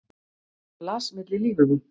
Hann las milli línanna.